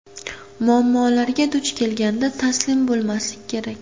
Muammolarga duch kelganda, taslim bo‘lmaslik kerak.